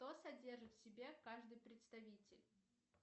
что содержит в себе каждый представитель